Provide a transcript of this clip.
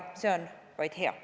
See on vaid hea.